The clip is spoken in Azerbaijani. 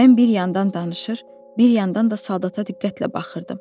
Mən bir yandan danışır, bir yandan da soldata diqqətlə baxırdım.